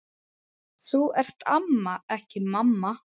Þú ert amma, ekki mamma.